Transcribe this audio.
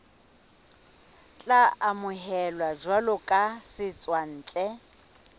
tla amohelwa jwalo ka setswantle